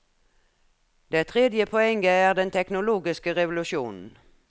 Det tredje poenget er den teknologiske revolusjonen.